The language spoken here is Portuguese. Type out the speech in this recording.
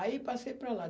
Aí, passei para lá.